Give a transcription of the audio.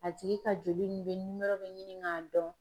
A tigi ka joli ni bɛ nimɔrɔ bɛ ɲini k'a dɔn.